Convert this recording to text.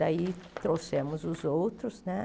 Daí trouxemos os outros, né?